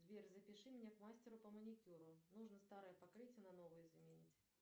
сбер запиши меня к мастеру по маникюру нужно старое покрытие на новое заменить